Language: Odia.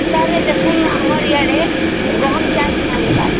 ସରେ ଦେଖାନ ନ ଆମର ଏଆଡ଼େ ଗହମ ଚାଷ ନାହିଁ ହବାର